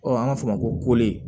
an b'a fɔ o ma ko